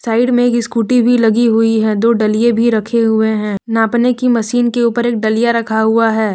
Side में एक scooty भी लगी हुई है दो डलिये भी रखे हुए हैं नापने की मशीन के ऊपर एक डलिया रखा हुआ है।